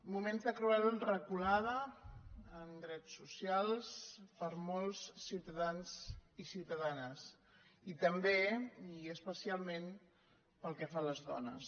moments de cruel reculada en drets socials per a molts ciutadans i ciutadanes i també i especialment pel que fa a les dones